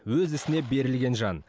өз ісіне берілген жан